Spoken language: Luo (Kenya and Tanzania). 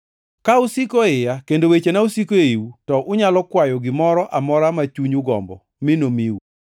Ka usiko e iya kendo wechena osiko eiu, to unyalo kwayo gimoro amora ma chunyu gombo mi nomiu.